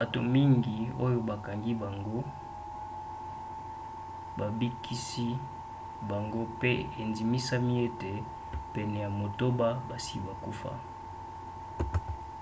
bato mingi oyo bakangaki bango babikisi bango pe endimisami ete pene ya motoba basi bakufa